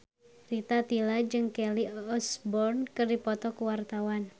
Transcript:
Rita Tila jeung Kelly Osbourne keur dipoto ku wartawan